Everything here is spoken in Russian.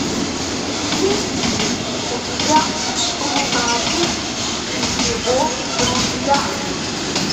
есть ли у тебя лунатик и его друзья